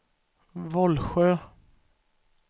Vollsjö